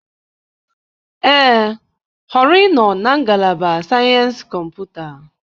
Ee, họrọ ịnọ na Ngalaba Sayensị Kọmputa.